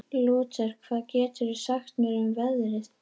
Lúter, hvað geturðu sagt mér um veðrið?